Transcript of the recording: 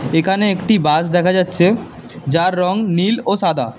এখানে একটি বাস দেখা যাচ্ছে যার রং নীল ও সাদা।